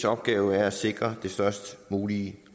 opgave er at sikre det størst mulige